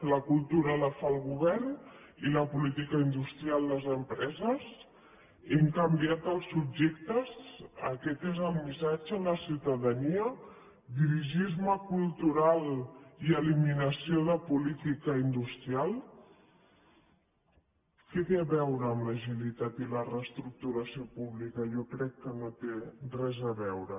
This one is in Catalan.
la cultura la fa el govern i la política industrial les empreses hem canviat els subjectes aquest és el missatge a la ciutadania dirigisme cultural i eliminació de política industrial què té a veure amb l’agilitat i la reestructuració pública jo crec que no hi té res a veure